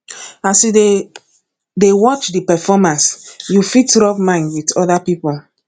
as you dey dey watch di performance you fit rub mind with oda pipo